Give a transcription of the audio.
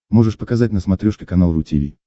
можешь показать на смотрешке канал ру ти ви